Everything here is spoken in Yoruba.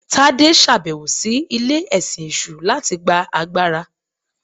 Tade ṣabẹwo si ile-ẹsin eṣu latí gbá àgbará.